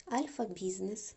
альфа бизнес